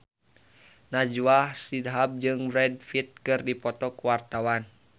Najwa Shihab jeung Brad Pitt keur dipoto ku wartawan